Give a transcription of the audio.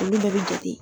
Olu bɛɛ bɛ jate